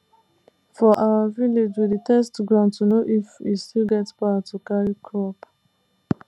for our village we dey test ground to know if e still get power to carry crop